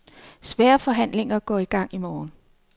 Svære forhandlinger går i gang i morgen.